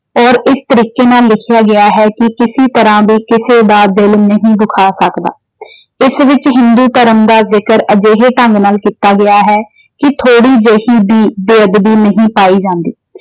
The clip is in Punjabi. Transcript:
ਔਰ ਇਸ ਤਰੀਕੇ ਨਾਲ ਲਿਖਿਆ ਗਿਆ ਹੈ ਕਿ ਕਿਸੀ ਤਰ੍ਹਾਂ ਦੇ ਕਿਸੇ ਦਾ ਦਿਲ ਨਹੀਂ ਦੁਖਾਂ ਸਕਦਾ। ਇਸ ਵਿੱਚ ਹਿੰਦੂ ਧਰਮ ਦਾ ਜ਼ਿਕਰ ਅਜਿਹੇ ਢੰਗ ਨਾਲ ਕੀਤਾ ਗਿਆ ਹੈ ਕਿ ਥੌੜੀ ਜਿਹੀ ਵੀ ਬੇਅਦਬੀ ਨਹੀਂ ਪਾਈ ਜਾਂਦੀ।